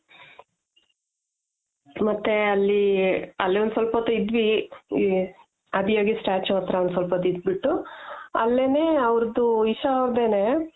ಮತ್ತೆ ಅಲ್ಲಿ ಅಲ್ಲೊಂದು ಸ್ವಲ್ಪ ಹೊತ್ತು ಇದ್ವಿ, ಆದಿಯೋಗಿ statue ಹತ್ರ ಒಂದ್ ಸ್ವಲ್ಪ ಹೊತ್ ಇದ್ಬಿಟ್ಟು ಅಲ್ಲೆನೆ ಅವ್ರ್ದ್ isha ಅವ್ರ್ದೆನೆ